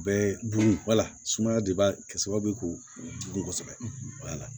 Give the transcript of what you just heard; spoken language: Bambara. Bɛɛ dun wala sumaya de b'a kɛ sababu ye k'u dun kosɛbɛ